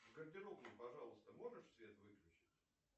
в гардеробной пожалуйста можешь свет выключить